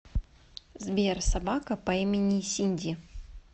сбер собака по имени синди